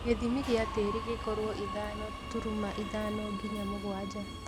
Gĩthimi gĩa tĩri gĩkorwo ithano turuma ithano nginya mũgwanja